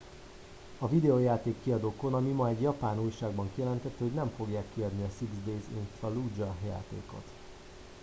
a videojáték kiadó konami ma egy japán újságban kijelentette hogy nem fogják kiadni a six days in fallujah játékot